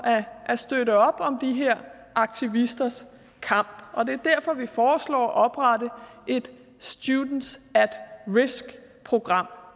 at støtte op om de her aktivisters kamp og det er derfor vi foreslår at oprette et students at risk program